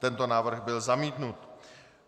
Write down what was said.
Tento návrh byl zamítnut.